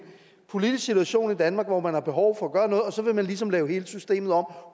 politisk situation i danmark hvor man har behov for at gøre noget og så vil man ligesom lave hele systemet om